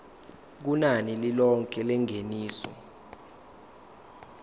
kunani lilonke lengeniso